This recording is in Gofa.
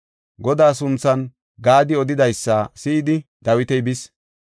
Godaa sunthan Gaadi odidaysa si7idi Dawiti bis.